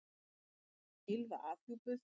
Brjóstmynd af Gylfa afhjúpuð